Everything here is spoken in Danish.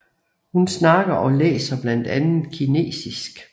Hun snakker og læser blandt andet kinesisk